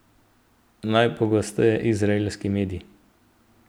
Najpogosteje izraelski mediji.